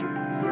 og